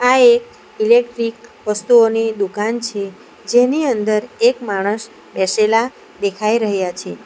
આ એક ઇલેક્ટ્રિક વસ્તુઓની દુકાન છે જેની અંદર એક માણસ બેસેલા દેખાઈ રહ્યા છે.